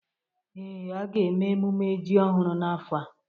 Ee, a ga-eme emume ji ọhụrụ n'afọ a